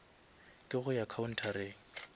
ke go ya khaunthareng